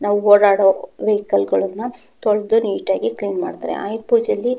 ನಾವು ಓಡಾಡುವ ವೆಹಿಕಲ್ ಗಲ್ಲನ್ನ ತೊಳದು ನೀಟಾಗಿ ಕ್ಲೀನ್ ಮಾಡುತ್ತಾರೆ ಆಯ್ದು ಪೂಜೆಯಲ್ಲಿ --